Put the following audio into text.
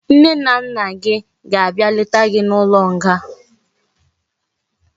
Nne na nna gi ga abia leta gi na ulo nga